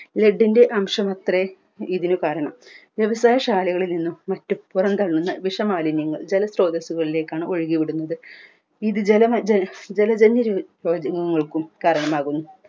led അംശമാണത്രെ ഇതിനു കാരണം വ്യവസായ ശാലകളിൽ നിന്നും വി പുറം തള്ളുന്ന വിഷ മാലിന്യങ്ങൾ ജല സ്രോതസ്സുകളിലേക്കാണ് ഒഴുകി വിടുന്നത് ഇത് ജല ജന്യ രോഗങ്ങൾക്കും കാരണമാകുന്നു